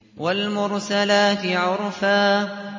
وَالْمُرْسَلَاتِ عُرْفًا